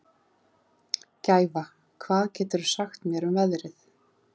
Gæfa, hvað geturðu sagt mér um veðrið?